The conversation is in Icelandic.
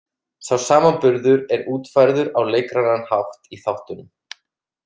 Sá samanburður er útfærður á leikrænan hátt í þáttunum.